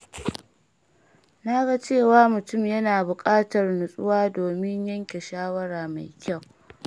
Na ga cewa mutum yana buƙatar nutsuwa domin yanke shawara mai kyau.